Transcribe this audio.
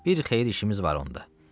Bir xeyir işimiz var onda.